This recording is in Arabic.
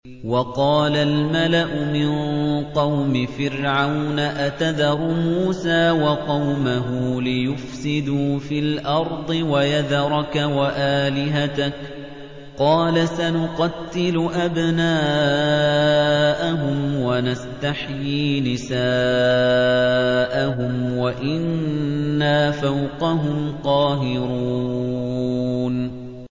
وَقَالَ الْمَلَأُ مِن قَوْمِ فِرْعَوْنَ أَتَذَرُ مُوسَىٰ وَقَوْمَهُ لِيُفْسِدُوا فِي الْأَرْضِ وَيَذَرَكَ وَآلِهَتَكَ ۚ قَالَ سَنُقَتِّلُ أَبْنَاءَهُمْ وَنَسْتَحْيِي نِسَاءَهُمْ وَإِنَّا فَوْقَهُمْ قَاهِرُونَ